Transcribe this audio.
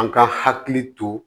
An ka hakili to